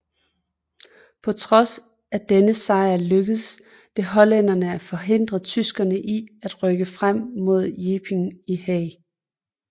På trods af denne sejr lykkedes det hollænderne at forhindre tyskerne i at rykke frem fra Ypenburg til Haag